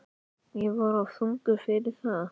Ég var of þungur fyrir það.